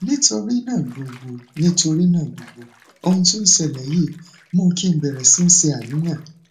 nítorí náà gbogbo nítorí náà gbogbo ohun tó ṣẹlẹ yìí mú kí n bẹrẹ síí ṣàníyàn